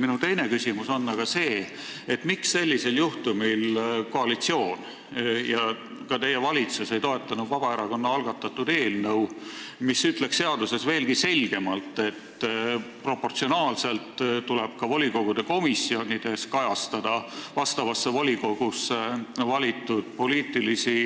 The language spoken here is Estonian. Minu teine küsimus on sellisel juhtumil aga see: miks koalitsioon ega ka teie valitsus ei toetanud Vabaerakonna algatatud eelnõu, mis ütleks seaduses veelgi selgemalt, et ka volikogude komisjonides tuleb vastavasse volikogusse valitud poliitilisi